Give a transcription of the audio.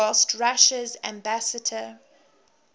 whilst russia's ambassador